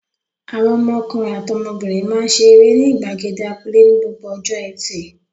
Àwọn ọmọkùnrin àti ọmọbìnrin máa ń ṣe eré ní ìgbàgede abúlé ní gbogbo ọjọ́ ẹtì.